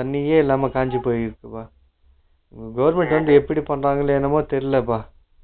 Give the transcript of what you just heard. தண்ணியே இல்லாம காஞ்சுகிட்டு இருக்குப்பா silent எப்படி பண்றாங்களோ என்னமோ தேரிலப